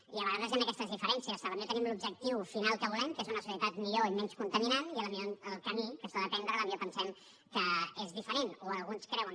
i a vegades hi han aquestes diferències potser tenim l’objectiu final que volem que és una societat millor i menys contaminant i el camí que s’ha d’emprendre potser pensem que és diferent o alguns creuen